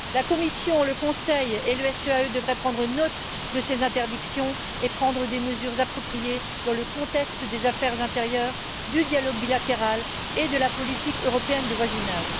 La Commission, le Conseil et le SEAE devraient prendre note de ces interdictions et prendre des mesures appropriées dans le contexte des affaires intérieures, du dialogue bilatéral et de la politique européenne de voisinage.